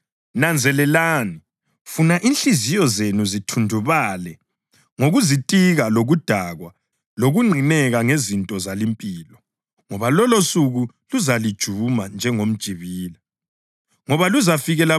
Nanzelelani funa inhliziyo zenu zithundubale ngokuzitika lokudakwa lokunqineka ngezinto zalimpilo, ngoba lolosuku luzalijuma njengomjibila.